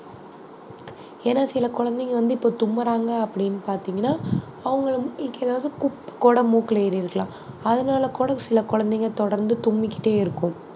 ஏன்னா சில குழந்தைங்க வந்து இப்ப தும்முறாங்க அப்படின்னு பார்த்தீங்கன்னா அவங்களை ஏதாவது மூக்குல ஏறி இருக்கலாம் அதனால கூட சில குழந்தைங்க தொடர்ந்து தும்மிக்கிட்டே இருக்கும்